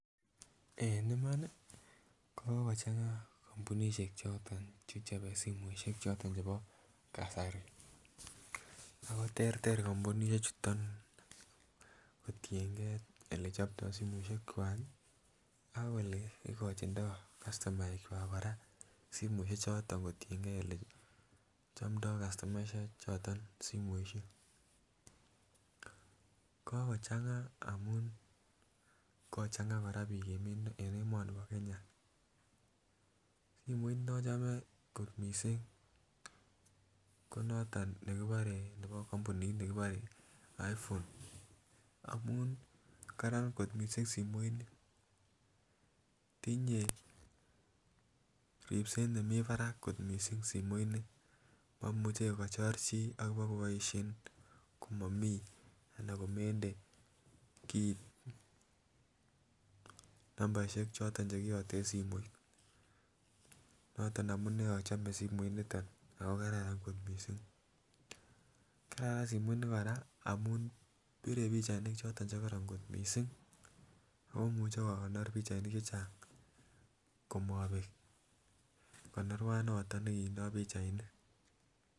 En Iman nii ko kokochanga kombunishek choton che chobe simoishek choton chebo kasari ako terter kimpunishek chuton kotiyen gee ele choptoo simoishek kwak kii ak ole kojindoo kastomaek kwak Koraa simoishek choton kotiyengee ole chomdoo kastomaek choton simoishek. Kokochamga amun kachanga Koraa bik en emoni bo Kenya, simoit nochome kot missing ko noton nekebore nebo kompunit nekibore iPhone amun Karan kot missing simoit nii tinyee ripset nemii barak kot simoit nii momuche kochop chii abokoboishen komomii anan komende kit numbaishek choton chekiyoten simoit noton amunee ochome simoit niton ako kararan kot missing. Kararan simoit nii Koraa amun pire pichainik choton chekororon kot missing ako imuche kokonor pichainik che Chang komobek konorua noton nekindo pichainik.